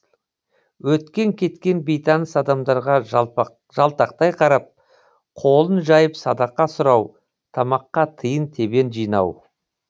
өткен кеткен бейтаныс адамдарға жалтақтай қарап қолын жайып садақа сұрау тамаққа тиын тебен жинау